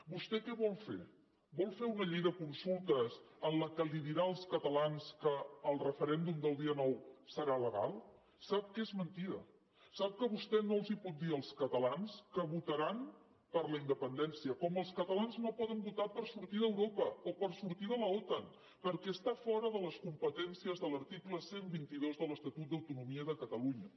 vostè què vol fer vol fer una llei de consultes en què dirà als catalans que el referèndum del dia nou serà legal sap que és mentida sap que vostè no pot dir als catalans que votaran per la independència com els catalans no poden votar per sortir d’europa o per sortir de l’otan perquè està fora de les competències de l’article cent i vint dos de l’estatut d’autonomia de catalunya